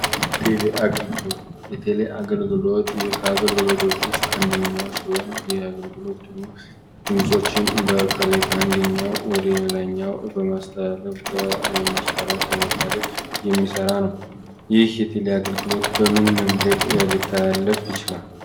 ቴሌ አገልግሎት የቴሌ አገልግሎት የአገልግሎቶች ውስጥ አንደኛው ሲሆን፤ የአገልግሎቱን በከሌ ድምጾችን ከአንደኛው ወደ ሌላኛው በማስተላለፍ የሚሰራ ነው ። የአገልግሎት በምን መንገድ ሊታለፍ ይችላል?